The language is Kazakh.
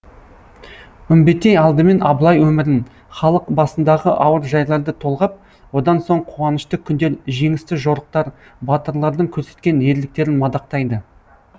үмбетей алдымен абылай өмірін халық басындағы ауыр жайларды толғап одан соң қуанышты күндер жеңісті жорықтар батырлардың көрсеткен ерліктерін мадақтайды